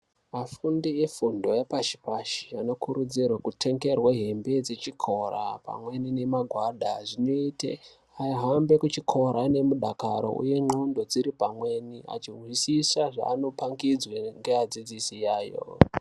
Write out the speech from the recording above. Afundi efundo yepashi pashi anokurudzirwa kutengerwe nhumbi dzechikora pamwe nemagwada zvinoite ahambe kuchikora ainekudakara uye dziripamweni achizwisisa zveanodzidziswa ngeadzidzisi yayo.